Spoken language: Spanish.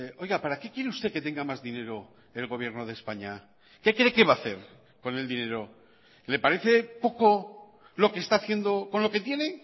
oiga para qué quiere usted que tenga más dinero el gobierno de españa que cree que va a hacer con el dinero le parece poco lo que está haciendo con lo que tiene